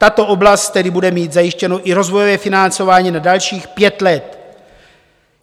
Tato oblast tedy bude mít zajištěno i rozvojové financování na dalších pět let.